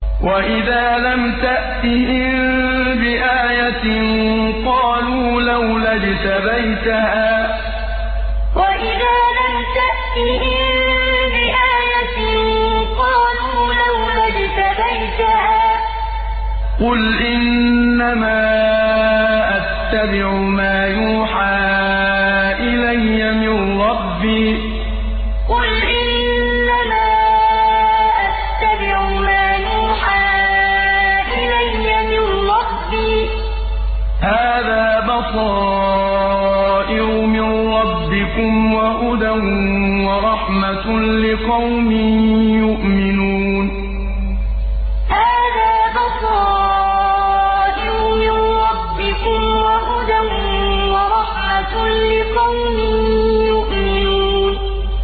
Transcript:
وَإِذَا لَمْ تَأْتِهِم بِآيَةٍ قَالُوا لَوْلَا اجْتَبَيْتَهَا ۚ قُلْ إِنَّمَا أَتَّبِعُ مَا يُوحَىٰ إِلَيَّ مِن رَّبِّي ۚ هَٰذَا بَصَائِرُ مِن رَّبِّكُمْ وَهُدًى وَرَحْمَةٌ لِّقَوْمٍ يُؤْمِنُونَ وَإِذَا لَمْ تَأْتِهِم بِآيَةٍ قَالُوا لَوْلَا اجْتَبَيْتَهَا ۚ قُلْ إِنَّمَا أَتَّبِعُ مَا يُوحَىٰ إِلَيَّ مِن رَّبِّي ۚ هَٰذَا بَصَائِرُ مِن رَّبِّكُمْ وَهُدًى وَرَحْمَةٌ لِّقَوْمٍ يُؤْمِنُونَ